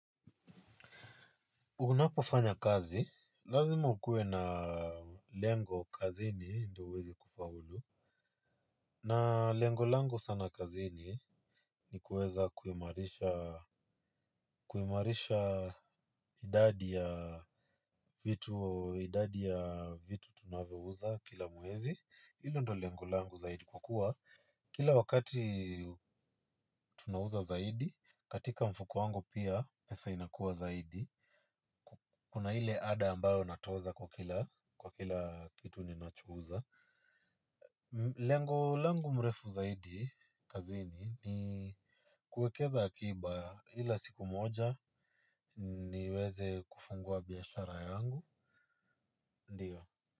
Unapofanya kazi, lazima ukuwe na lengo kazini ndo uweze kufaulu, na lengo lango sana kazini ni kuweza kuimarisha idadi ya vitu, idadi ya vitu tunavyouza kila muezi, hilo ndo lengo lango zaidi kwa kuwa. Kila wakati tunauza zaidi, katika mfuko wangu pia pesa inakua zaidi. Kuna ile ada ambayo natoza kwa kila kitu ninacho uza. Lengo langu mrefu zaidi, kazini, ni kuekeza akiba ila siku moja niweze kufungua biashara yangu. Ndiyo.